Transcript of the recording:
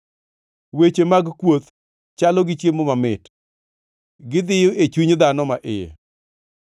Weche mag kuoth chalo gi chiemo mamit; gidhiyo e chuny dhano ma iye.